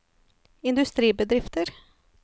industribedrifter